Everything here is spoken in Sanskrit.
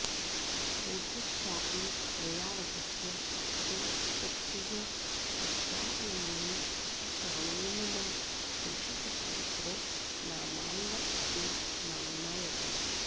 पूर्तिश्चापि दयारसस्य हरते सूक्तिः सुधास्यन्दिनी स स्वामी मम देशिकस्तदितरो नाम्नाऽपि नाम्नायते